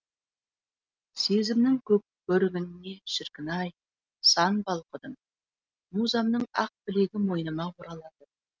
сезімнің көрігінешіркін ай сан балқыдым музамның ақ білегімойныма оралады